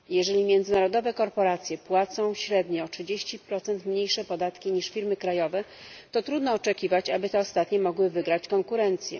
Jeżeli międzynarodowe korporacje płacą średnio o 30 mniejsze podatki niż firmy krajowe, to trudno oczekiwać, aby te ostatnie mogły wygrać konkurencję.